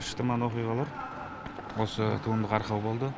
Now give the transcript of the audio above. шытырман оқиғалар осы туындыға арқау болды